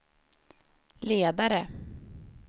ledare